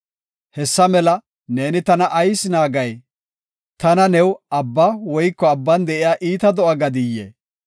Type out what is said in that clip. Hessa mela neeni tana ayis naagay? Ta new abba woyko abban de7iya iita do7a gadiyee?